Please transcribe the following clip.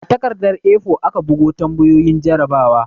A takardar 'A4'aka bugo tambayoyin jarrabawa